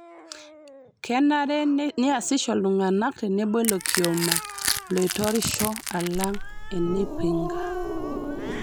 Kenare neasisho ltung'ana tenebo ilo kioma loitorisha alang' enaipinga